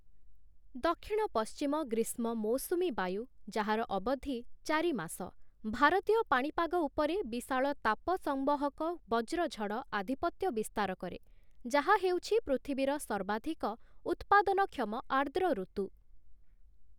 ଦକ୍ଷିଣ-ପଶ୍ଚିମ ଗ୍ରୀଷ୍ମ ମୌସୁମୀ ବାୟୁ, ଯାହାର ଅବଧି ଚାରି ମାସ, ଭାରତୀୟ ପାଣିପାଗ ଉପରେ ବିଶାଳ ତାପ ସଂବହକ ବଜ୍ରଝଡ଼ ଆଧିପତ୍ୟ ବିସ୍ତାର କରେ, ଯାହା ହେଉଛି ପୃଥିବୀର ସର୍ବାଧିକ ଉତ୍ପାଦନକ୍ଷମ ଆର୍ଦ୍ର ଋତୁ ।